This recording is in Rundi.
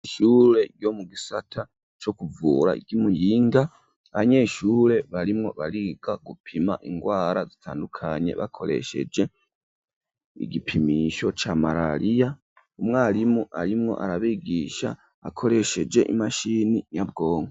Ishure ryo mu gisata co kuvura ry'imuyinga abanyeshure barimwo bariga gupima ingwara zitandukanye bakoresheje igipimisho ca marariya umwarimu arimwo arabigisha akoresheje imashini nyabwonko.